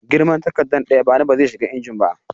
Girman takardar da ya ba ni ba zai shiga injin ba